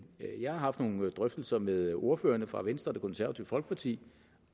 jeg har haft nogle drøftelser med ordførerne fra venstre og det konservative folkeparti